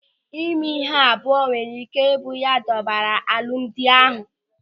Ịme ịhụ abụọ nwere ị́ké ị bụ ya dọbara n'alụmdi ahụ.